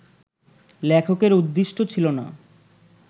লেখকের উদ্দীষ্ট ছিল না